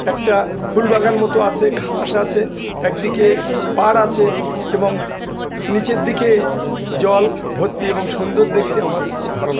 একটা ফুলবাগান মত আসে। ঘাস আছে। একদিকে পাড় আছে এবং নিচের দিকে জল ভর্তি এবং সুন্দর দেখতে। আমার খুব ভালো লাগ--